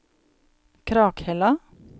Krakhella